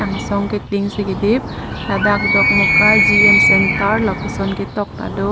angsong ke tin si kedip ladak dokmoka gm centre pu ketok ta do.